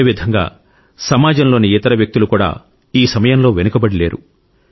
అదేవిధంగా సమాజంలోని ఇతర వ్యక్తులు కూడా ఈ సమయంలో వెనుకబడి లేరు